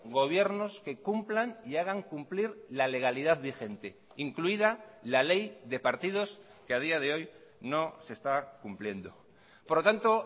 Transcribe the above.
gobiernos que cumplan y hagan cumplir la legalidad vigente incluida la ley de partidos que a día de hoy no se está cumpliendo por lo tanto